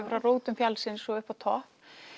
frá rótum fjallsins og upp á topp